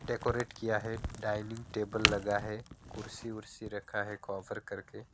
Decorate किया है dining table लगा है कुर्सी कुर्सी रखा है कॉभर करके।